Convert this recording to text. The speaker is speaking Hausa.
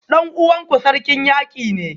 Dan uwanku Sarkin Yaki ne?